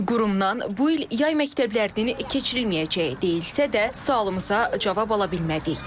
Qurumdan bu il yay məktəblərinin keçirilməyəcəyi deyilsə də, sualımıza cavab ala bilmədik.